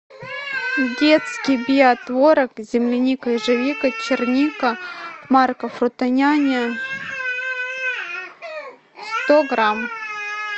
детский биотворог земляника ежевика черника марка фрутоняня сто грамм